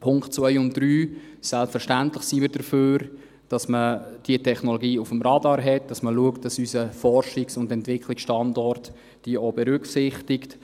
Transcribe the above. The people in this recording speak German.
Punkt 2 und 3: Selbstverständlich sind wir dafür, dass man diese Technologie auf dem Radar hat, dass man schaut, dass unser Forschungs- und Entwicklungsstandort diese auch berücksichtigt.